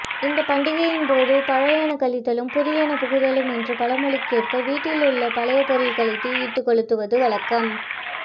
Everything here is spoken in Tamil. இந்த பண்டிகையின்போது பழையன கழிதலும் புதியன புகுதலும் என்ற பழமொழிக்கேற்ப வீட்டில் உள்ள பழைய பொருட்களை தீயிட்டு கொளுத்துவது வழக்கம்